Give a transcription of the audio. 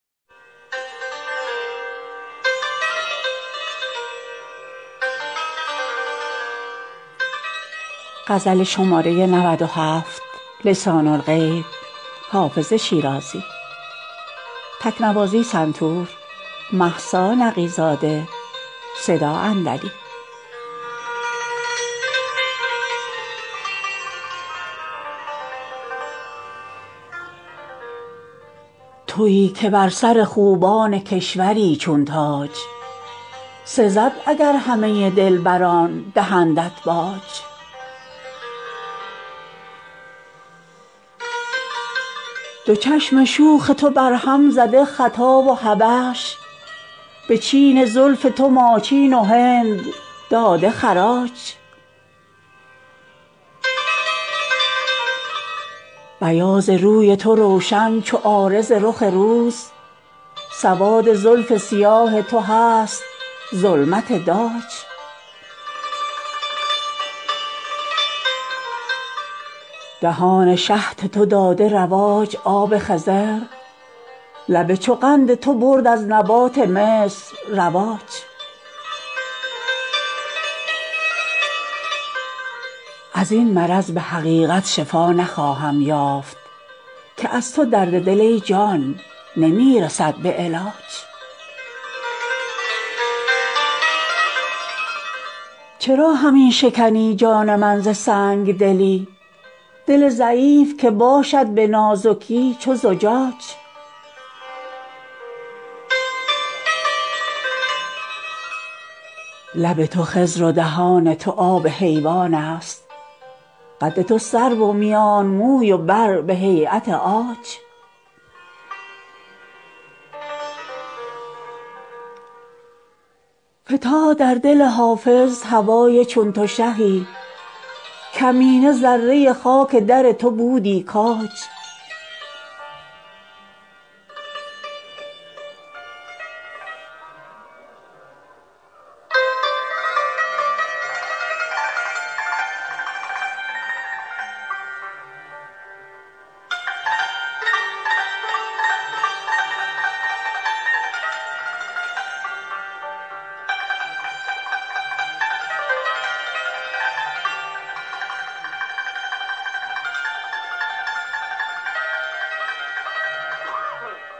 تویی که بر سر خوبان کشوری چون تاج سزد اگر همه دلبران دهندت باج دو چشم شوخ تو برهم زده خطا و حبش به چین زلف تو ماچین و هند داده خراج بیاض روی تو روشن چو عارض رخ روز سواد زلف سیاه تو هست ظلمت داج دهان شهد تو داده رواج آب خضر لب چو قند تو برد از نبات مصر رواج از این مرض به حقیقت شفا نخواهم یافت که از تو درد دل ای جان نمی رسد به علاج چرا همی شکنی جان من ز سنگ دلی دل ضعیف که باشد به نازکی چو زجاج لب تو خضر و دهان تو آب حیوان است قد تو سرو و میان موی و بر به هییت عاج فتاد در دل حافظ هوای چون تو شهی کمینه ذره خاک در تو بودی کاج